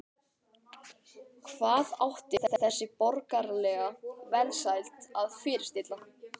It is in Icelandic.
Hvað átti öll þessi borgaralega velsæld að fyrirstilla?